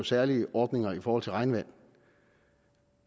særlige ordninger i forhold til regnvand